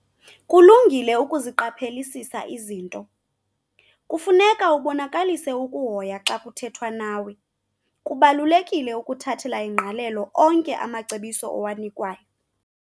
Kulungile ukuziqaphelisisa izinto. kufuneka ubonakalise ukuhoya xa kuthethwa nawe, kubalulekile ukuthathela ingqalelo onke amacebiso owanikwayo